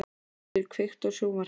Íseldur, kveiktu á sjónvarpinu.